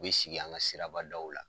U bɛ sigi an ka siraba daw la.